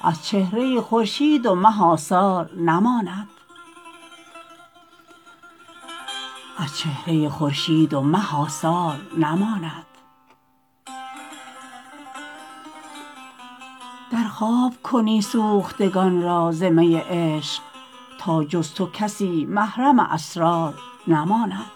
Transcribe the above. از چهره خورشید و مه آثار نماند در خواب کنی سوختگان را ز می عشق تا جز تو کسی محرم اسرار نماند